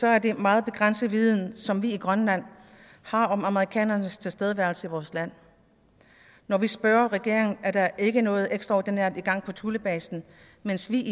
er det en meget begrænset viden som vi i grønland har om amerikanernes tilstedeværelse i vores land når vi spørger regeringen er der ikke noget ekstraordinært i gang på thulebasen mens vi